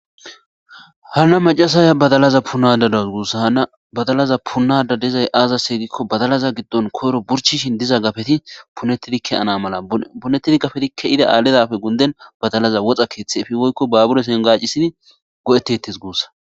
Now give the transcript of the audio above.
Hanna macasaya badalaza punadada guussa hana badalaza punada dezay aaza seygikko badalaza giddon koyro burchishin diza gafeti punettidike -ana mala punettidi gafetikke ida aaledafe gunden badalaza woxa keeththe efiwoykko baabure sengacisini go7eti ettis guussa